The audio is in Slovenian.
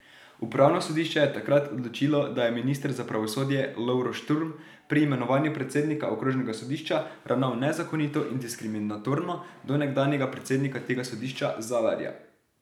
Upravno sodišče je takrat odločilo, da je minister za pravosodje Lovro Šturm pri imenovanju predsednika okrožnega sodišča ravnal nezakonito in diskriminatorno do nekdanjega predsednika tega sodišča Zalarja.